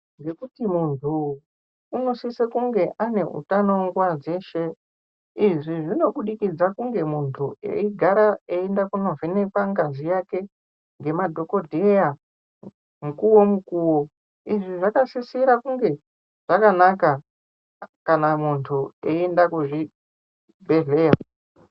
Ngekuti muntu unosise kunge ane utano nguwa dzeshe, izvi zvinobudikidza kunge muntu eigara eienda kunovhenekwa ngazi yake ngemadhokodheya mukowo mukuwo. Izvi zvakasisira kunge zvakanaka kana muntu eienda kuzvibhadhlera.